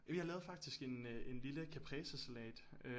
Jamen jeg lavede faktisk en øh en lille capresesalat